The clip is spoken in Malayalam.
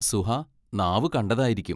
സുഹാ നാവു കണ്ടതായിരിക്കും.